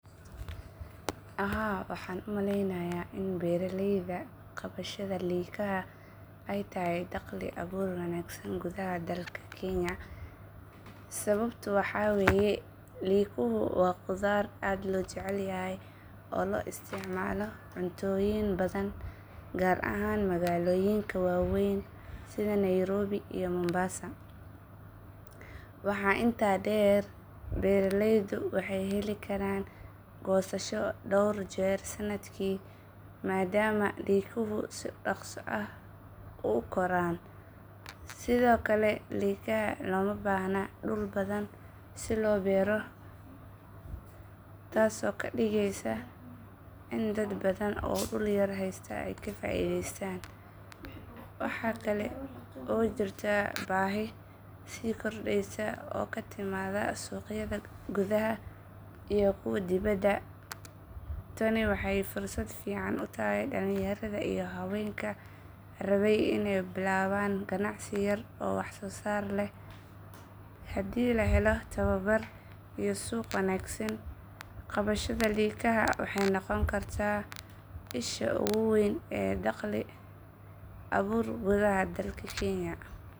Haa waaxan umaleynaya in beeraleyda qabashada likaha ey tahay dakhli abuur wanaagsan gudaxa dalka Kenya sababto waxa wey likuhu waa qudar aad lo jecalyaha lo isticmalo cuntoyin baadan gar ahaan magaloyinka waweyn sidha Nairobi iyo Mombas waaxa intaa deer beeraleydo waa hee heli kara gosashi deer sanakii madama likaha si daqso u koro sidhoo kale likaha loo mabaaxno dul badaan sii loo beero taaso oo kaa diigeyso ina daad baadan oo dul yar haysto kafaideysatan waxa kale oo jirta baahi sii kordeysa oo katiimada suqyada guudaha ama kuwa diwada tani waxey fursad ficaan tahay dalinyarada iyo xaawenka rawe iney bilawan ganacsi oo wax so saar leh hadi lahelo dawabar iyo suq wanaagsan qawashadha likaha waxey noqoni karta isha ugu weyn ee dakhli abuur gudaha dalka Kenya.